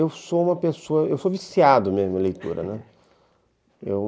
Eu sou uma pessoa... Eu sou viciado mesmo em leitura, né?